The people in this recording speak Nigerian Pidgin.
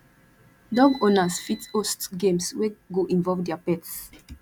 dog owners fit host games wey go involve their pets